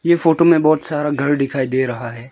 इस फोटो में बहुत सारा घर दिखाई दे रहा है।